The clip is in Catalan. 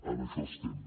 en això estem